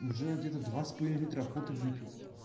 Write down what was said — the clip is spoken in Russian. уже где-то два с половиной литра охоты выпил